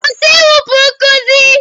Kwụsị ịwụpụ nkuzi!